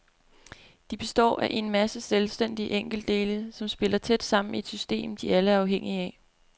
De består af en masse selvstændige enkeltdele, som spiller tæt sammen i et system, de alle er afhængige af.